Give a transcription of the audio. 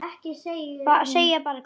Segja bara Gugga.